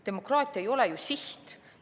Demokraatia ei ole ju siht.